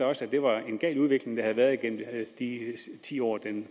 også at det var en gal udvikling der havde været gennem de ti år den